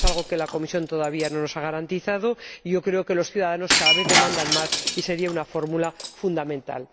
Es algo que la Comisión todavía no nos ha garantizado y yo creo que los ciudadanos lo piden cada vez más sería una fórmula fundamental.